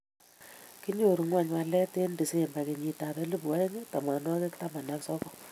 kinyoru ng'ony walet eng' disemba kenyitab elput oeng' tamanwokik taman ak sokol